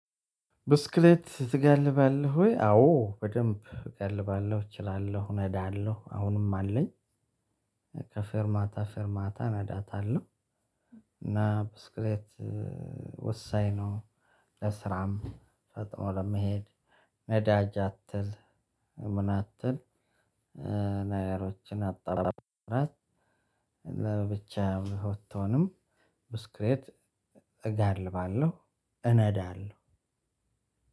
ብስክሌት ትጋልባለህ ወይ? አዎ በደንብ እጋልባለው እችላለው ነዳለው አሁንም አለኝ። ከፌርማታ ፌርማታ እነዳታለው። እና ብስክሌት ወሳኝ ነው። ለስራም ፈጥኖ ለመሄድ ነዳጅ አትል ምን አትል? ነገሮችን አጠራርብራት። ለብቻህ ብትሆንም ብስክሌት እጋልባለው እነዳለው።